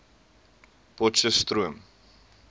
potcheftsroom